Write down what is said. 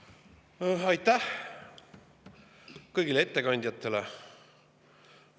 Aitäh kõigile ettekandjatele!